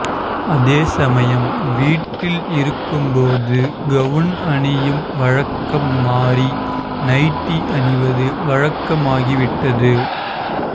அதே சமயம் வீட்டில் இருக்கும் போது கவுன் அணியும் வழக்கம் மாறி நைட்டி அணிவது வழக்கமாகிவிட்டது